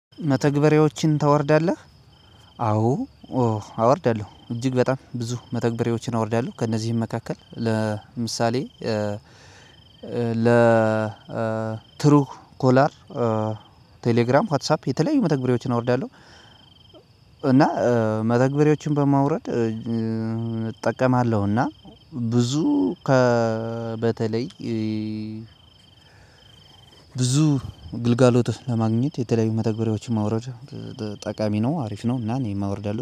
መተግበሪያዎችን ታወርዳለህ? አዎ። አወርዳለሁ እጅግ በጣም ብዙ መተግበሪያዎችን አወርዳለሁ ከእነዚህም መካከል ለምሳሌ ለ ትሩ ኮለር ቴሌግራም ዋትሳፕ የተለያዩ መተግበሪያዎችን አወርዳለሁ። እና መተግበሪያዎችን በማውረድ እጠቀማለሁና ብዙ ከ በተለይ ብዙ ግልጋሎት ለማግኘት የተለያዩ መተግበሪያዎችን ማውረድ ጠቃሚ ነው አሪፍ ነው። እና እኔም አወርዳለሁ